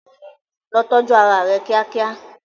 Lọ tọ́jú ara rẹ kíákíá.